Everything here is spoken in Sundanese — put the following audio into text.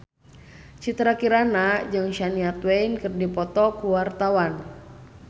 Citra Kirana jeung Shania Twain keur dipoto ku wartawan